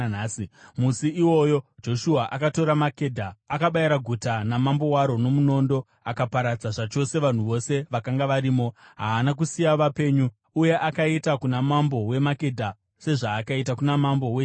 Musi iwoyo Joshua akatora Makedha. Akabayira guta namambo waro nomunondo akaparadza zvachose vanhu vose vakanga varimo. Haana kusiya vapenyu. Uye akaita kuna mambo weMakedha sezvaakaita kuna mambo weJeriko.